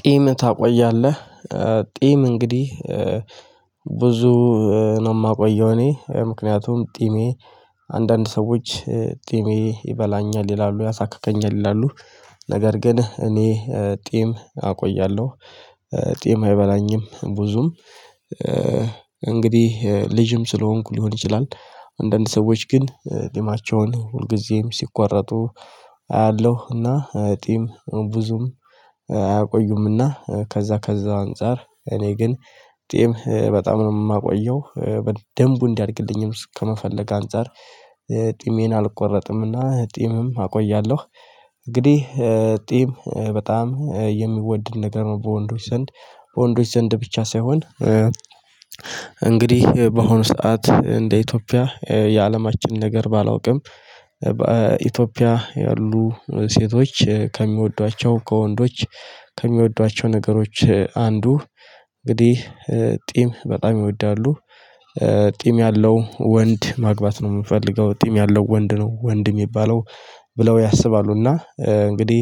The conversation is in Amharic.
ጢም ታቆያለህ? ጢም እንግዲህ ብዙ ነው የማቆየው እኔ ምክንያቱም ጢሜ አንዳንድ ሰዎች ጢሜ ይበላኛል ይላሉ ያሳክከኛል ያሉት ነገር ግን እኔ ጢም አቆያለሁ። ጢም አይበላኝም ብዙም እንግዲህ ልጅም ስለሆንኩ ሊሆን ይችላል አንዳንድ ሰዎች ግን ጢማቸውን ሁልጊዜም ሲቆረጡ አያለሁ እና ጢም ብዙም አያቆዩም። ከዛ ከዛ አንፃር እኔ ግን ጢም በጣም ነው የማቆየው በደንቡ እንዲያድግልኝም ከመፈለግ አንፃር ጢሜን አልቆረጥምና ጢምም አቆያለሁ። እንግዲህ ጢም በጣም የሚወደድ ነገር ነው በወንዶች ዘንድ በወንዶች ዘንድ ብቻ ሳይሆን። እንግዲህ በሆነ ሰዓት እንደ ኢትዮጵያ የአለማችን ነገር ባላውቅም በኢትዮጵያ ያሉ ሴቶች ከሚወዷቸው ከወንዶች ከሚወዷቸው ነገሮች አንዱ እንግዲህ ጢም በጣም ይወዳሉ። ጢም ያለው ወንድ ማግባት ነው የምፈልገው ጢም ያለው ወንድ ነው ወንድ የሚባለው። ብለው ያስባሉና እንግዲህ